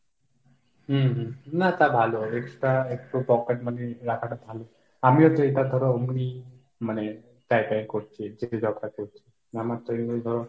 হম হম না তা ভালো extra একটু pocket money রাখাটা ভালো। আমিও যেটা ধরো এমনি মানে জায়গায় করছি যে জবটাতে আমার তো ওই ধরো,